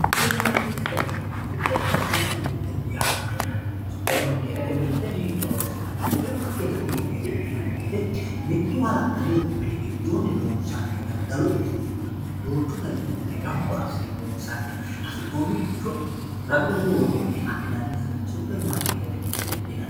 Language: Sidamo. Superimaarketete mirte, superimaarketete mirte yaa mayyate, Superimaarketete mirte hiittonni horonsi'nanni, superimaarketete mirteti yinanni woyte mitu hala'ladu mini giddooni loonsanniha daddalu uduune duuchu dani uduune gamba assine loonsanniha hasi'nonniricho ragu ragunni worroniha adhinanniha superimaarketete mirteti yinanni.